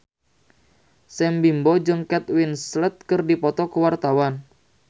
Sam Bimbo jeung Kate Winslet keur dipoto ku wartawan